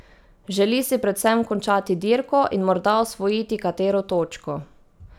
Želi si predvsem končati dirko in morda osvojiti katero točko.